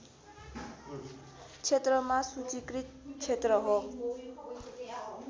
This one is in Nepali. क्षेत्रमा सूचीकृत क्षेत्र हो